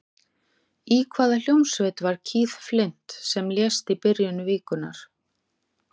Í hvaða hljómsveit var Keith Flint sem lést í byrjun vikunnar?